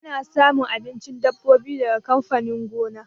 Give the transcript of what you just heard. Ana samun abincin dabbobi daga amfanin gona.